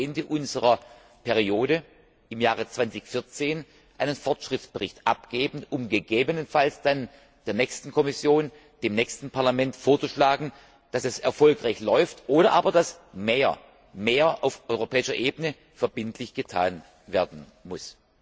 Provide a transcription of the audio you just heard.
d. h. vor Ende unserer Amtszeit im Jahre 2014 einen Fortschrittsbericht abgeben, um gegebenenfalls der nächsten Kommission, dem nächsten Parlament zu sagen, dass es erfolgreich läuft, oder aber dass mehr auf europäischer Ebene verbindlich getan werden muss.